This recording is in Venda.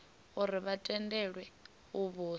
uri vha tendelwe u vhusa